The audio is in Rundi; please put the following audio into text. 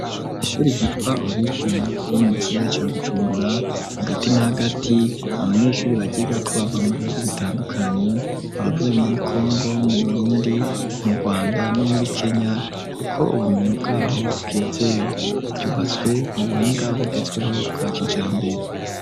ishuri gitwa olivia iri mu gisabere cya gucumbura hagati n'agati abanyeshuri bagiga ko bava mu bihugu bitandukanye abavuye muri congo mu burundi mu rwanda no muri kenya kuko ubumenyi bwaho bwize gyubatswe mu buhinga bugezweho bwa kijambe